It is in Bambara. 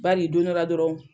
Baari don dɔ la dɔrɔn.